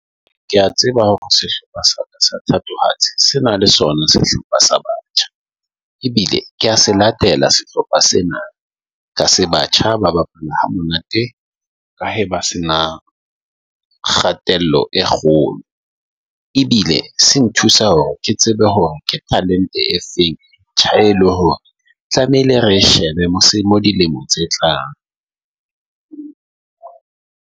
Ke a tseba hore sehlopha sa thatohatsi se na le sona sehlopha sa, ebile kea se latela sehlopha sena ka se batjha Ba bapala ha monate ka ha ba se nang kgatello e kgolo ebile se nthusa hore ke tsebe hore ke talente e feng tja e le hore tlamehile re shebe dilemo tse tlang .